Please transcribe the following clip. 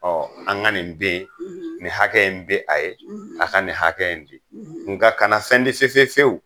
Ɔ an ka nin bin a ye, nin hakɛ in bin a ye, an ka nin hakɛ in bi nka a kana fɛn di fefe fewu!